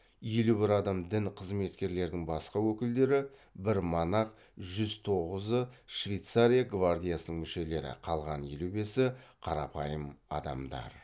елу бір адам дін қызметкерлерінің басқа өкілдері бір монах жүз тоғызы швейцария гвардиясының мүшелері қалған елу бесі қарапайым адамдар